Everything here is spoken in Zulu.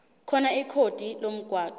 khona ikhodi lomgwaqo